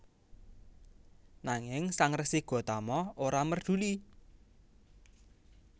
Nanging Sang Resi Gotama ora merduli